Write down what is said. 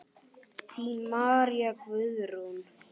Þín María Guðrún.